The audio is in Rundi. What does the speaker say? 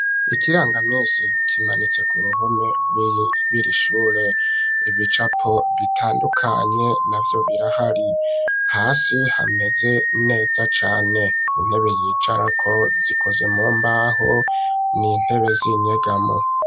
Ikirangamisi kimanitse ku ruhome rwiri shure ,ibicapo bitandukanye navyo birahari ,hasi hameze neza cane, intebe yicarako zikozwe mumbaho n'intebe z'inyegamo.